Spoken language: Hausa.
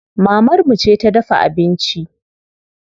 Mamar mu ce ta dafa abinci.